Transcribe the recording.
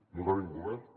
no tenim govern